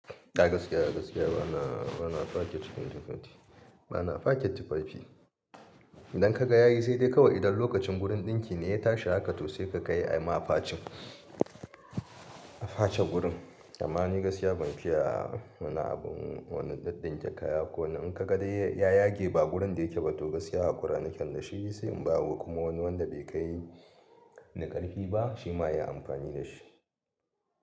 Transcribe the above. Gaskiya gaskiya bana, bana faken tufafi, bana faken tufafi. Idan ka ga yayi saidai kawai idan lokacin wurin ɗinki ne ya tashi haka to sai ka kai ama a facin, a face gurin. Amma ni gaskiya ban fiya wani abun, wani ɗaɗɗun jakaya ko ninka ka dai ya yage ba gurin da yake ba to gaskiya hakura naken da shi sai in bawa kuma wani wanda bai kai ni ƙarfi ba shi ma ya yi amfani da shi.